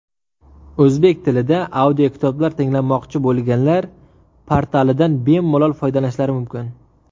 O‘zbek tilida audiokitoblar tinglamoqchi bo‘lganlar portalidan bemalol foydalanishlari mumkin.